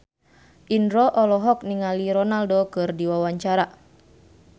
Indro olohok ningali Ronaldo keur diwawancara